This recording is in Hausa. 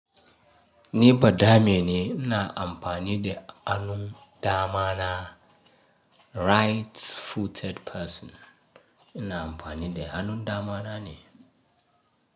Ni ba dame ne ina amfani da hannun dama na. Right-footed person ina amfani da hannun dama na ne.